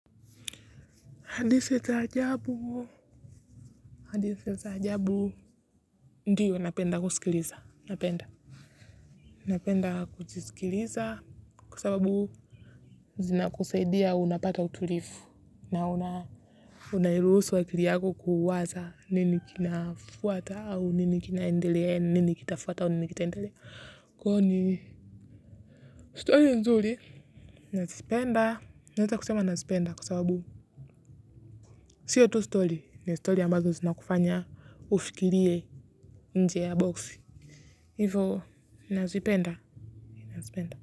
Hadithi za ajabu. Hadithi za ajabu. Ndiyo napenda kusikiliza. Napenda. Napenda kujisikiliza. Kwa sababu. Zinakusaidia unapata utulivu. Na una. Unairuhusu akili yako kuwaza. Nini kinafuata au nini kinaendelea. Nini kitafuata au nini kitaendelea. Kwani. Stori nzuri. Nazipenda. Nawezakusema nazipenda kwa sababu. Sio tu stori. Ni stori ambazo zinakufanya. Ufikirie. Nje ya boxi hivo nazipenda.